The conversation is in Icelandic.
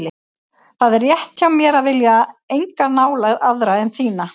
Það er rétt hjá mér að vilja enga nálægð aðra en þína.